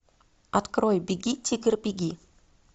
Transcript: открой беги тигр беги